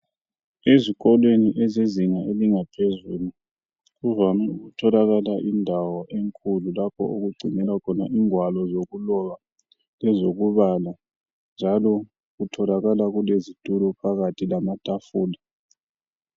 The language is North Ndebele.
Ezikolweni ezezinga elingaphezulu, kuvame ukutholakala indawo enkulu lapho okugcinelwa khona ingwalo zokuloba lezokubala njalo kutholakala kulezitulo phakathi lamatafula.